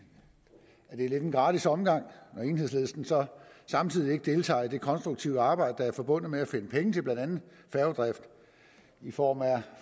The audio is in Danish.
at det er lidt en gratis omgang når enhedslisten så samtidig ikke deltager i det konstruktive arbejde der er forbundet med at finde penge til blandt andet færgedrift i form af